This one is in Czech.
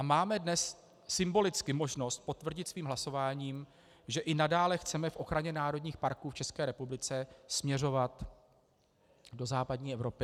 A máme dnes symbolicky možnost potvrdit svým hlasováním, že i nadále chceme v ochraně národních parků v České republice směřovat do západní Evropy.